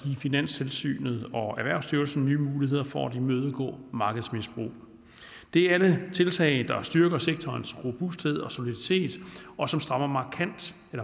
finanstilsynet og erhvervsstyrelsen nye muligheder for at imødegå markedsmisbrug det er alle tiltag der styrker sektorens robusthed og soliditet og som strammer